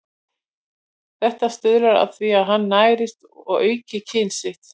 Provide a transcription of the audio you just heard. Þetta stuðlar að því að hann nærist og auki kyn sitt.